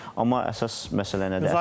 Amma əsas məsələ nədir?